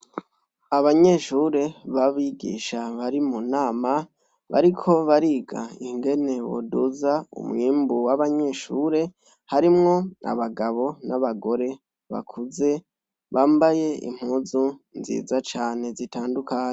Abanyeshure b'abigisha bari mu nama bariko bariga ingene boduza umwimbu w'abanyeshure harimwo abagabo n'abagore bakuze bambaye impuzu nziza cane zitandukanye.